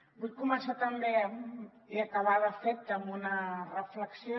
vull començar també i acabar de fet amb una reflexió